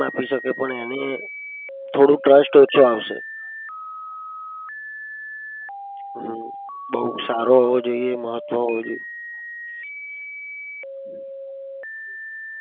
એને થોડો trust ઓછો આવશે. હમ બઉ સારો હોવો જોઈએ મહત્વ હોવો જોઈએ.